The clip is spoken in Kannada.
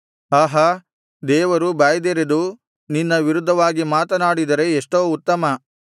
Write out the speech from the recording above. ಆಹಾ ದೇವರು ಬಾಯ್ದೆರೆದು ನಿನ್ನ ವಿರುದ್ಧವಾಗಿ ಮಾತನಾಡಿದರೆ ಎಷ್ಟೋ ಉತ್ತಮ